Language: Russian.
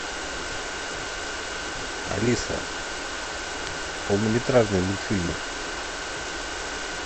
алиса полнометражные мультфильмы